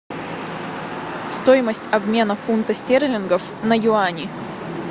стоимость обмена фунта стерлингов на юани